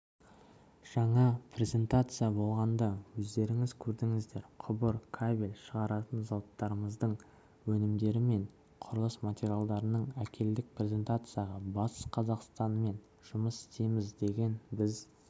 жаңа презентация болғанда өздеріңіз көрдіңіздер құбыр кабель шығаратын зауыттарымыздың өнімдері мен құрылыс материалдарын әкелдік презентацияға батыс қазақстанмен жұмыс істейміз деп біз